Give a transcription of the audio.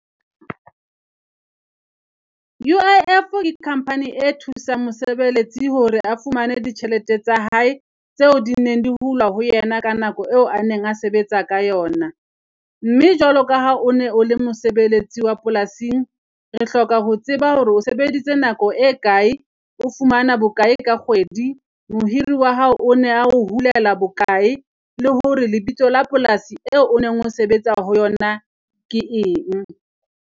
U_I_F le company e thusang mosebeletsi hore a fumane ditjhelete tsa hae tseo di neng di hulwa ho yena ka nako eo a neng a sebetsa ka yona. Mme jwalo ka ha o ne o le mosebeletsi wa polasing, re hloka ho tseba hore o sebeditse nako e kae, o fumana bokae ka kgwedi? Mohiri wa hao o ne a ho hulela bokae? Le hore lebitso la polasi e o o neng o sebetsa ho yona ke eng?